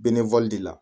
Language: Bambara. de la